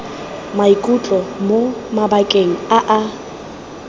maikutlo mo mabakeng a a